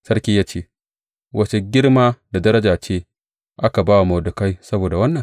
Sarki ya ce, Wace girma da daraja ce aka ba wa Mordekai saboda wannan?